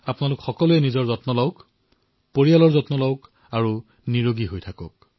আপোনালোকে নিজৰ যত্ন লওক নিজৰ পৰিয়ালৰ যত্ন লওক আৰু সুস্থ হৈ থাকক